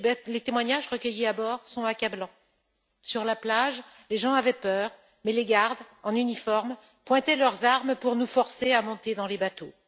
Les témoignages recueillis à bord sont accablants sur la plage, les gens avaient peur, mais les gardes en uniforme pointaient leurs armes pour nous forcer à monter dans les bateaux.